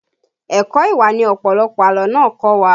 Ẹ̀kọ́ ìwà ni ọ̀pọ̀lọpọ̀ àlọ́ náà kọ́ wa